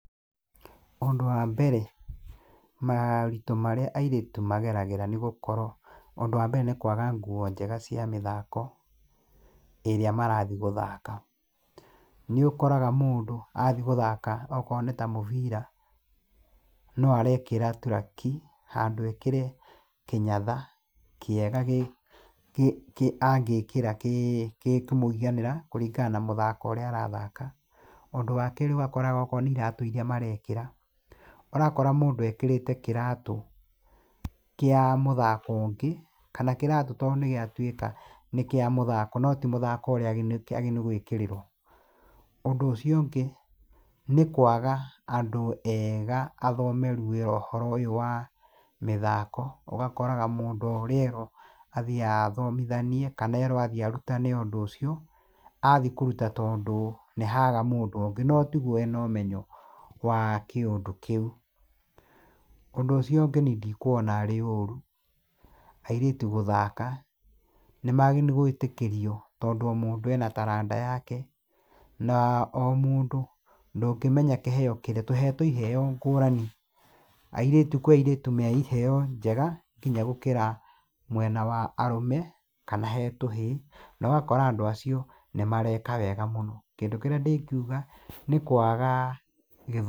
Ũndũ wa mbere, maũritũ marĩa airĩtu mageragĩra nĩgũkorwo, ũndũ wa mebre nĩ kwaga nguo njega cia mĩthako, ĩrĩa marathiĩ gũthaka. Nĩũkoraga mũndũ athiĩ gũthaka akorwo nĩ ta mũbira, no arekĩra tũraki, handũ ekĩre kĩnyatha kĩega angĩkĩra kĩĩ kĩ kĩkũmũiganĩra kũringana na mũthako ũrĩa arathaka . Ũndũ wa kerĩ ũgakoraga akorwo nĩ iratũ iria marekĩra, ũrakora mũndũ ekĩrĩte kĩratũ kĩa mũthako ũngĩ, kana kĩratũ tondũ nĩgĩatuĩka nĩ kĩa mũthako no timũthako ũrĩa kĩagĩrĩire nĩ gwĩkĩrĩrwo. Ũndũ ũcio ũngĩ, nĩ kwaga andũ ega athomeru wĩra ũhoro ũyũ wa mĩthako, ũgakoraga mũndũ o ũrĩa erwo, athiaga athomithanie, kana erwo athiĩ arutane ũndũ ũcio, athiĩ kũruta tondũ nĩhaga mũndũ ũngĩ no tiguo ena ũmenyo wa kĩũndũ kĩu. Ũndũ ũcio ũngĩ niĩ ndikuona arĩ ũru airĩtu gũthaka, nĩmagĩrĩire gwĩtĩkĩrio tondũ o mũndũ ena taranda yake, na o mũndũ ndũngĩmenya kĩheo kĩrĩa, tũhetũo iheo ngũrani, airĩtu kwĩ airĩtũ me iheo njega kinya gũkĩra mwena wa arũme kana he tũhĩĩ, no ũgakora andũ acio nĩmareka wega mũno. Kindũ kĩrĩa ndĩkiuga nĩ kwaga gĩthomo.